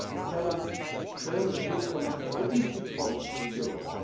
This tells us don't look from an egoistic point to Europe.